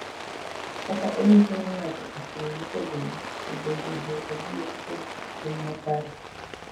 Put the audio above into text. Kaka onyiso ni ng’ato ochung’ motegno e bedo jo adier kod tim makare.